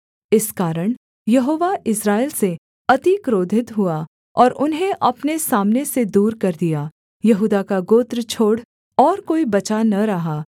इस कारण यहोवा इस्राएल से अति क्रोधित हुआ और उन्हें अपने सामने से दूर कर दिया यहूदा का गोत्र छोड़ और कोई बचा न रहा